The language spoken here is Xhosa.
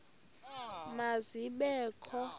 ma zibe kho